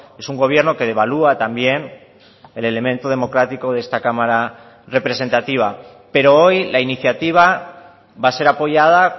es un gobierno que devalúa también el elemento democrático de esta cámara representativa pero hoy la iniciativa va a ser apoyada